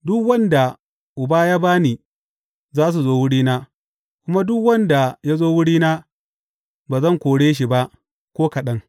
Duk waɗanda Uba ya ba ni za su zo wurina, kuma duk wanda ya zo wurina ba zan kore shi ba ko kaɗan.